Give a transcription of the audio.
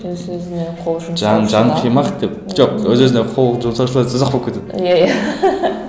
өз өзіне қол жұмсау жан қимақ деп жоқ өз өзіне қол жұмсау өте ұзақ болып кетеді иә иә